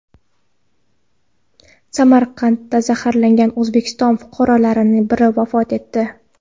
Samarada zaharlangan O‘zbekiston fuqarolaridan biri vafot etdi.